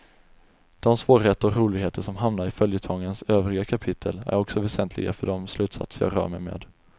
Dom svårigheter och roligheter som hamnar i följetongens övriga kapitel är också väsentliga för dom slutsatser jag rör mig med.